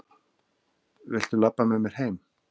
Viltu labba með mér heim!